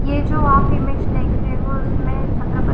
ये जो आप इमेज देख रहे हो उसमे छत्रपति --